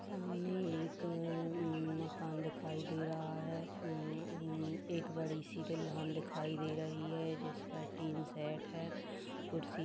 सामने एक अ- मकान दिखाई दे रहा है। उम्म एक बड़ी सी दिलहम दिखाई दे रही है। जिसमें टिन सेट है। कुर्सी --